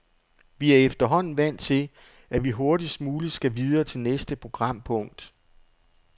Vi er efterhånden vant til, at vi hurtigst muligt skal videre til næste programpunkt.